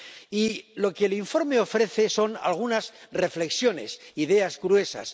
Y lo que el informe ofrece son algunas reflexiones, ideas gruesas.